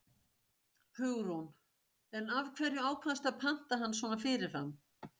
Hugrún: En af hverju ákvaðstu að panta hann svona fyrirfram?